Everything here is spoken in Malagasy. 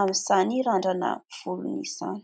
amin'izany randrana volon'izany.